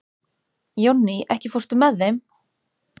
Jónný, ekki fórstu með þeim?